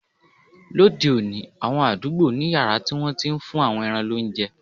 Lóde òní, àwọn àdúgbò ní yàrá tí wọ́n ti ń fún àwọn ẹran lóúnjẹ